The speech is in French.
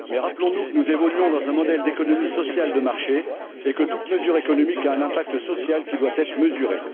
Mais rappelons nous que nous évoluons dans un modèle d'économie sociale de marché et que toute mesure économique a un impact social qui doit être mesuré.